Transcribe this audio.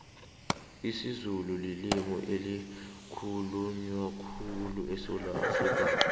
isizulu lilimi elikhulunywa khulyu esewula afrikapha